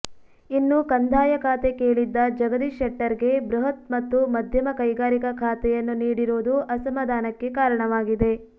ಇನ್ನು ಕಂದಾಯ ಖಾತೆ ಕೇಳಿದ್ದ ಜಗದೀಶ್ ಶೆಟ್ಟರ್ ಗೆ ಬೃಹತ್ ಮತ್ತು ಮಧ್ಯಮ ಕೈಗಾರಿಕಾ ಖಾತೆಯನ್ನು ನೀಡಿರೋದು ಅಸಮಾಧಾನಕ್ಕೆ ಕಾರಣವಾಗಿದೆ